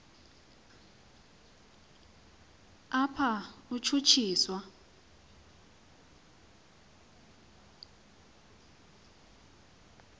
apha utshutshi swa